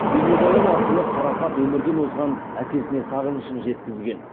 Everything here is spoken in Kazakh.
бейнебаян арқылы қарақат өмірден озған әкесіне сағынышын жеткізген